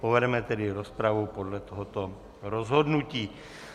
Povedeme tedy rozpravu podle tohoto rozhodnutí.